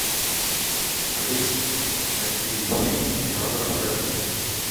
алиса найди фильм жанра фэнтези